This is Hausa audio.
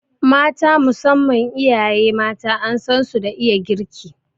Mata, musamman iyaye mata an san su da iya girki